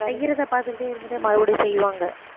செய்யறதை பாத்துட்டே இருந்துட்டே மறுபடியும் செய்வாங்க